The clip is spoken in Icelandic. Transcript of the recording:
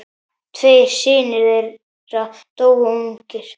Tveir synir þeirra dóu ungir.